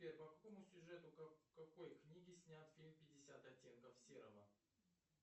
сбер по какому сюжету какой книги снят фильм пятьдесят оттенков серого